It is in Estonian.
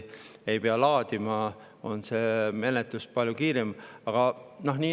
Ei pea laadima, see on palju kiirem.